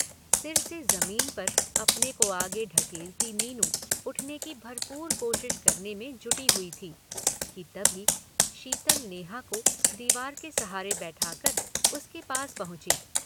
सिर से जमीन पर अपने को आगे ढकेलती मीनू उठने की भरपूर कोशिश करने में जुटी हुई थी कि तभी शीतल नेहा को दीवार के सहारे बैठा कर उसके पास पहुँची।